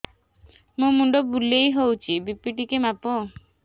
ମୋ ମୁଣ୍ଡ ବୁଲେଇ ହଉଚି ବି.ପି ଟିକେ ମାପ